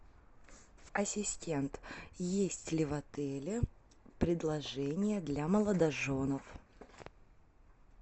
ассистент есть ли в отеле предложения для молодоженов